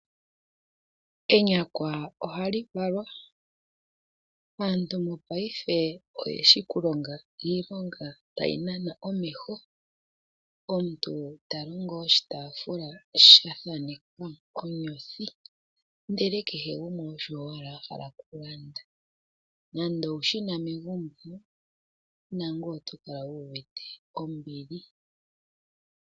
Enyakwa ohali valwa, aantu mopayife oyeshi okulonga iilonga tayi nana omeho. Omuntu talongo oshitaafula shili sha thanekwa onyothi ndele kehe gumwe osho owala ahala okulanda. Nando owu shina megumbo nangoye otokala wuuvite ombili.